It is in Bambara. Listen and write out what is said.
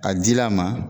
Ka ji la a ma